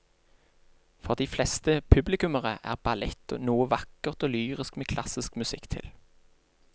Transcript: For de fleste publikummere er ballett noe vakkert og lyrisk med klassisk musikk til.